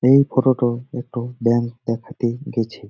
এই ফটোটো একটো ব্যাঙ্ক দেখাতে গেছে ।